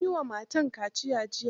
An yi wa matan kaciya jiya.